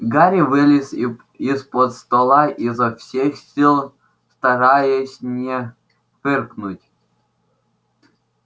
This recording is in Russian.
гарри вылез из-под стола изо всех сил стараясь не фыркнуть